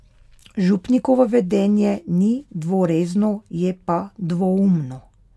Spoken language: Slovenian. Župnikovo vedenje ni dvorezno, je pa dvoumno.